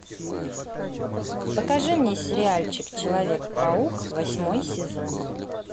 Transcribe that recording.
покажи мне сериальчик человек паук восьмой сезон